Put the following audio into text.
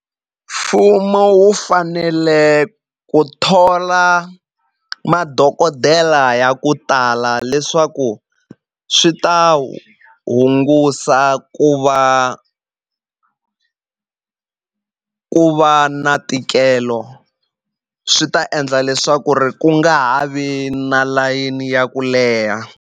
Mfumo wu fanele ku thola madokodela ya ku tala leswaku swi ta hungusa ku va ku va na ntikelo swi ta endla leswaku ri ku nga ha vi na layeni ya ku leha.